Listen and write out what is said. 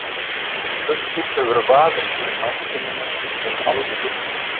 Þessi spurning hefur vafist fyrir mannkyninu um aldir.